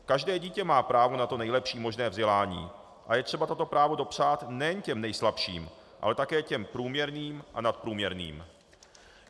Každé dítě má právo na to nejlepší možné vzdělání a je třeba toto právo dopřát nejen těm nejslabším, ale také těm průměrným a nadprůměrným.